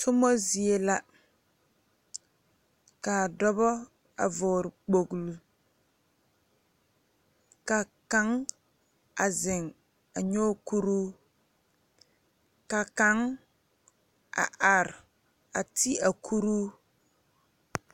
Tuma zie la kaa dɔɔba a vɔgle kpoŋlo ka kaŋ a zeŋ a nyoŋ kuro ka kaŋ a are a ti a kuro.